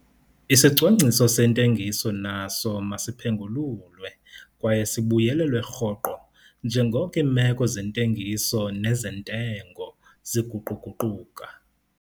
Isicwangciso sentengiso naso masiphengululwe kwaye sibuyelelwe rhoqo njengoko iimeko zentengiso nezentengo ziguqu-guquka.